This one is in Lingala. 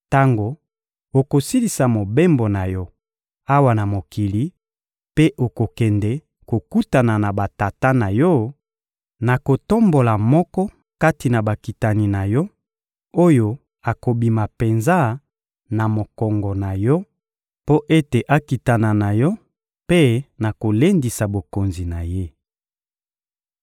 Tango okosilisa mobembo na yo awa na mokili mpe okokende kokutana na batata na yo, nakotombola moko kati na bakitani na yo, oyo akobima penza na mokongo na yo, mpo ete akitana na yo; mpe nakolendisa bokonzi na ye.